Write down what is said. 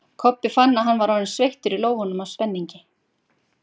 Kobbi fann að hann var orðinn sveittur í lófunum af spenningi.